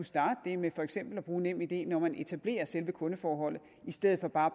starte det med for eksempel at bruge nemid når man etablerer selve kundeforholdet i stedet for bare